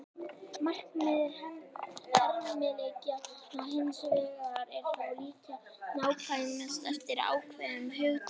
Markmið hermileikja hins vegar er að líkja sem nákvæmast eftir ákveðnum hugtökum.